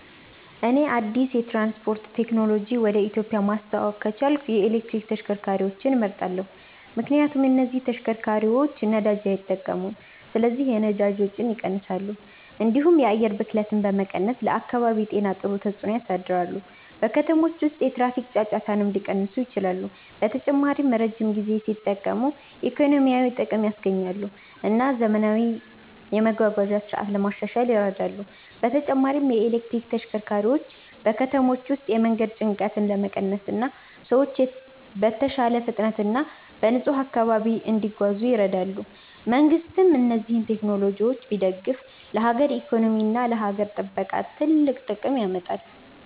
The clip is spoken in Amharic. እኔ አዲስ የትራንስፖርት ቴክኖሎጂ ወደ ኢትዮጵያ ማስተዋወቅ ከቻልኩ የኤሌክትሪክ ተሽከርካሪዎችን እመርጣለሁ። ምክንያቱም እነዚህ ተሽከርካሪዎች ነዳጅ አይጠቀሙም ስለዚህ የነዳጅ ወጪን ይቀንሳሉ፣ እንዲሁም የአየር ብክለትን በመቀነስ ለአካባቢ ጤና ጥሩ ተጽዕኖ ያሳድራሉ። በከተሞች ውስጥ የትራፊክ ጫጫታንም ሊቀንሱ ይችላሉ። በተጨማሪም ረጅም ጊዜ ሲጠቀሙ ኢኮኖሚያዊ ጥቅም ያስገኛሉ እና ዘመናዊ የመጓጓዣ ስርዓት ለማሻሻል ይረዳሉ። በተጨማሪም የኤሌክትሪክ ተሽከርካሪዎች በከተሞች ውስጥ የመንገድ ጭንቀትን ለመቀነስ እና ሰዎች በተሻለ ፍጥነት እና በንጹህ አካባቢ እንዲጓዙ ይረዳሉ። መንግሥትም እነዚህን ቴክኖሎጂዎች ቢደግፍ ለሀገር ኢኮኖሚ እና ለአካባቢ ጥበቃ ትልቅ ጥቅም ያመጣል።